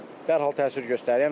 Dərhal təsir göstərir.